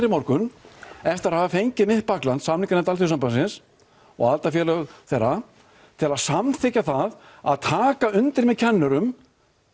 í morgun eftir að hafa fengið mitt bakland samninganefnd Alþýðusambandsins og aðildafélög þeirra til að samþykkja það að taka undir með kennurum